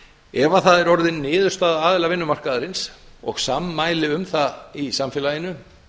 ef það er orðin niðurstaða aðila vinnumarkaðarins og sammæli um það í samfélaginu